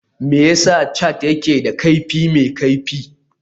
Me yasa cats ke da kaifi mai kaifi?